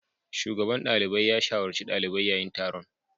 Shugaban dalibai ya shawarci dalibai a yayin taron.